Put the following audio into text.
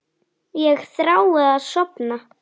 Þetta eru líka vinir mínir.